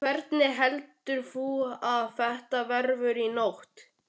Hvernig heldurðu að þetta verði í nótt?